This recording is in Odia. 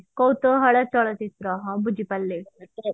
କୌତୁହଳ ଚଳଚିତ୍ର ହଁ ବୁଝି ପାରିଲି